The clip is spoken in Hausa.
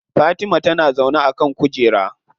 Fatima tana zaune a kan kujera.